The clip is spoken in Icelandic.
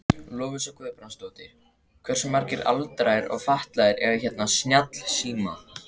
Lovísa Guðbrandsdóttir: Hversu margir aldraðir og fatlaðir eiga hérna snjallsíma?